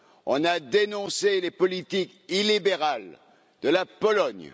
on a dénoncé les politiques illibérales de la Pologne